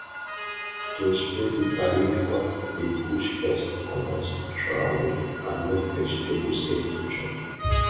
to spray bitter leaf oil dey push pest commot natural way and make vegetable safe to chop